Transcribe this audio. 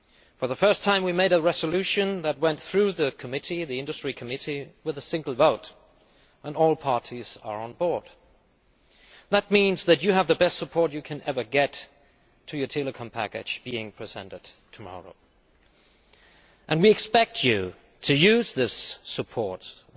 For the first time we made a resolution that went through the Committee on Industry, Research and Energy with a single vote and all parties are on board. That means that you have the best support you can ever get for your telecom package being presented tomorrow. We expect you to use this support at